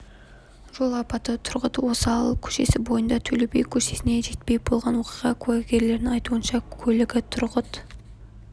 жол апаты тұрғыт озал көшесі бойында төле би көшесіне жетпей болған оқиға куәгерлерінің айтуынша көлігі тұрғыт